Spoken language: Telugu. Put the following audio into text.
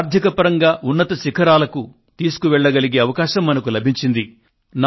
దేశాన్ని ఆర్థికపరంగా ఉన్నత శిఖరాలకు తీసుకువెళ్ళగలిగే అవకాశం మనకు లభించింది